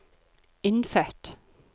innfødt